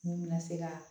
Mun bɛna se ka